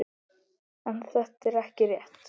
En þetta er ekki rétt.